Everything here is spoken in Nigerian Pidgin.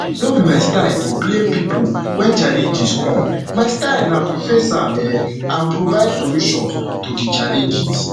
no be my style to blame pipo wen challenges come my style na to face am um and provide solutions to di challenges